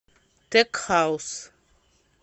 тек хаус